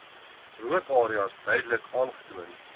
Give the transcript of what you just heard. rookareas duidelik aantoon